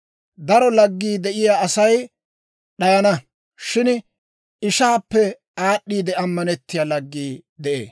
Daro laggii de'iyaa Asay d'ayana; shin ishaappe aad'd'iide ammantsiyaa laggii de'ee.